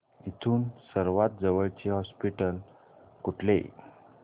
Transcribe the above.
इथून सर्वांत जवळचे हॉस्पिटल कुठले